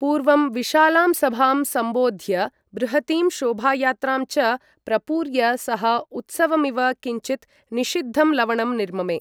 पूर्वं विशालां सभां सम्बोध्य, बृहतीं शोभायात्रां च प्रपूर्य, सः उत्सवमिव किञ्चित् निषिद्धं लवणं निर्ममे।